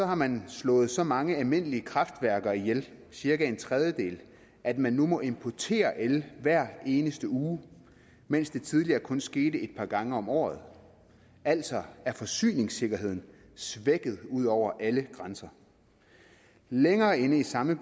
har man slået så mange almindelige kraftværker ihjel cirka en tredjedel at man nu må importere el hver eneste uge mens det tidligere kun skete et par gange om året altså er forsyningssikkerheden svækket ud over alle grænser længere inde i samme